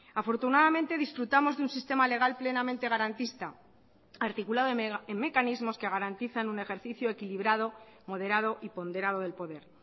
afortunadamente disfrutamos de un sistema legal plenamente garantista articulado en mecanismos que garantizan un ejercicio equilibrado moderado y ponderado del poder